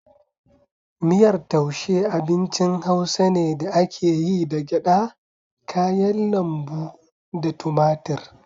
Miyar taushe abincin hausa ne da ake yi da gyada, kayan lambu, da tumatir.